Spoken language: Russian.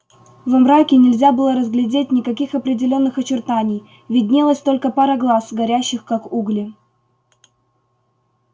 во мраке нельзя было разглядеть никаких определённых очертаний виднелась только пара глаз горящих как угли